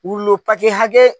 hakɛ.